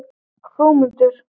Hrómundur